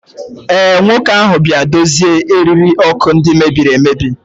ee, nwoke ahụ bịara dozie eriri ọkụ ndị mebiri emebi